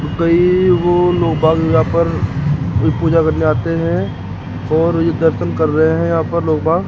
कई ओ यहाँ पर पूजा करने आते हैं और ये दर्शन कर रहे हैं यहां पर ।